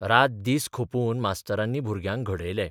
रात दीस खपून मास्तरांनी भुरग्यांक घडयले.